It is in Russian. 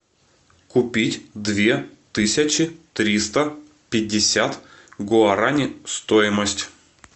купить две тысячи триста пятьдесят гуарани стоимость